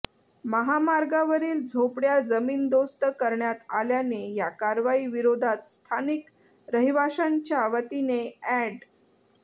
महामार्गावरील झोपड्या जमीनदोस्त करण्यात आल्याने या कारवाई विरोधात स्थानिक रहिवाश्यांच्या वतीने अॅड